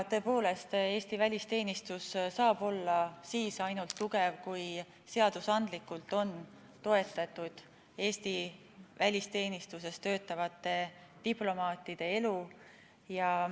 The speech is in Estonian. Tõepoolest, Eesti välisteenistus saab olla tugev ainult siis, kui seadusandlikult on toetatud Eesti välisteenistuses töötavate diplomaatide elu.